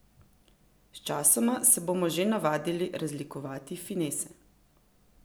Sčasoma se bomo že navadili razlikovati finese.